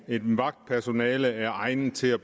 et vagtpersonale er egnet til at